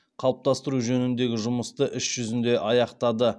қалыптастыру жөніндегі жұмысты іс жүзінде аяқтады